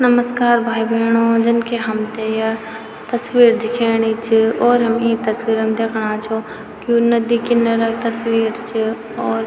नमस्कार भाई भैंणो जन कि हमथे या तस्वीर दिखेणी च और हम ई तस्वीरम् दैखणा छो कि यु नदी किनरा क तस्वीर च और।